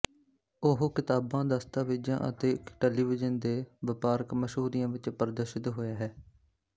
ਉਹ ਕਿਤਾਬਾਂ ਦਸਤਾਵੇਜ਼ਾਂ ਅਤੇ ਟੈਲੀਵਿਜ਼ਨ ਦੇ ਵਪਾਰਕ ਮਸ਼ਹੂਰੀਆਂ ਵਿੱਚ ਪ੍ਰਦਰਸ਼ਿਤ ਹੋਇਆ ਹੈ